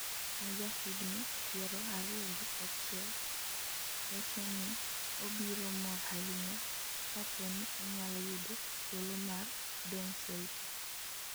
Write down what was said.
ma ja higni piero ariyo gi achiel, wacho i obiro mor ahinya kapo ni onyalo yudo thuolo mar dong' Celtic